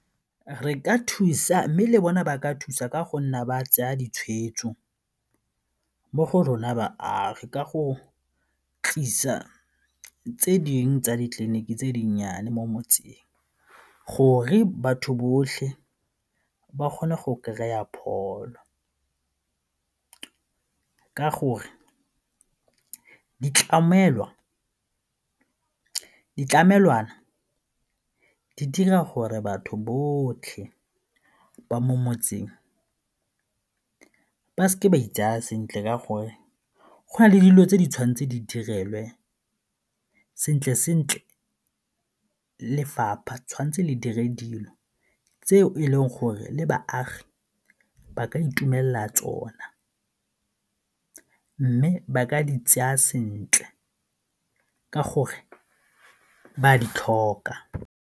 Re ka thusa mme le bona ba ka thusa ka go nna ba tseya ditshweetso mo go rona baagi ka go tlisa tse dingwe tsa ditleliniki tse dinnyane mo motseng gore batho botlhe ba kgone go kry-a pholo ka gore ditlamelwana di dira gore batho botlhe ba mo motseng ke seke ka itsaya sentle ka gore go na le dilo tse di tshwan'tse di direlwe, sentle-sentle lefapha tshwan'tse le dire dilo tse e leng gore le baagi ba ka itumelela tsona mme ba ka di tseya sentle ka gore ba a di tlhoka.